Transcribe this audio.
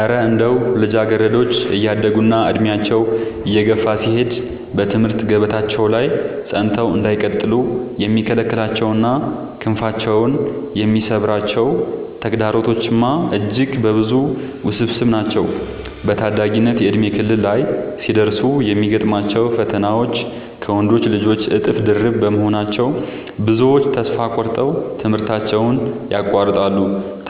እረ እንደው ልጃገረዶች እያደጉና ዕድሜያቸው እየገፋ ሲሄድ በትምህርት ገበታቸው ላይ ጸንተው እንዳይቀጥሉ የሚከለክሏቸውና ክንፋቸውን የሚሰብሯቸው ተግዳሮቶችማ እጅግ ብዙና ውስብስብ ናቸው! በታዳጊነት የእድሜ ክልል ላይ ሲደርሱ የሚገጥሟቸው ፈተናዎች ከወንዶች ልጆች እጥፍ ድርብ በመሆናቸው፣ ብዙዎቹ ተስፋ ቆርጠው ትምህርታቸውን ያቋርጣሉ።